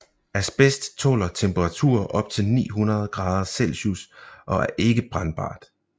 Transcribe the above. Asbest tåler temperaturer op til 900 grader Celsius og er ikke brændbart